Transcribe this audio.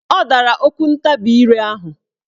Ọ dara okwuntabire ahụ.